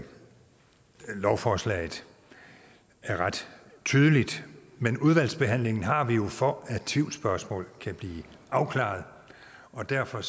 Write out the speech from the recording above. lovforslaget er ret tydeligt men udvalgsbehandlingen har vi jo for at tvivlsspørgsmål kan blive afklaret og derfor